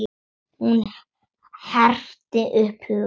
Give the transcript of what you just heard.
Hún herti upp hugann.